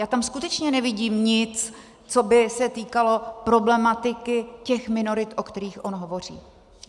Já tam skutečně nevidím nic, co by se týkalo problematiky těch minorit, o kterých on hovoří.